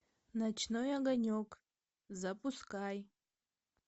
ночной огонек запускай